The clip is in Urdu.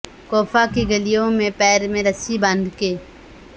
کوفہ کی گلیوں میں پیر میں رسی باندھ کے